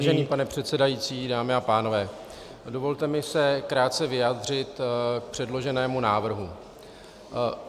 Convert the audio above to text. Vážený pane předsedající, dámy a pánové, dovolte mi se krátce vyjádřit k předloženému návrhu.